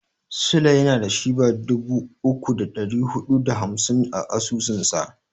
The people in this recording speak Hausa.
Sule yana da Shiba dubu uku da ɗari huɗu da hamsin a asusunsa.